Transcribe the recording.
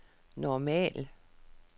normal